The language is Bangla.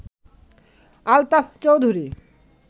আলতাফ চৌধুরী